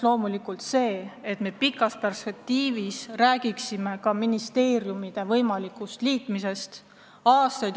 Loomulikult me pikas perspektiivis võiksime rääkida ka ministeeriumide võimalikust liitmisest.